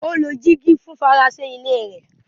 Ó lo dígí fún fèrèsé ilé rẹ̀.